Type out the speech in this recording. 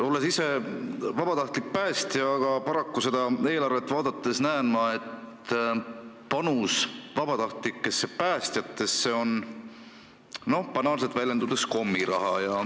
Mina olen vabatahtlik päästja, aga paraku seda eelarvet vaadates näen ma, et panus vabatahtlikusse päästesse on banaalselt väljendudes kommiraha.